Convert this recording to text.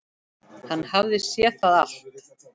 Hann hafði þá séð allt!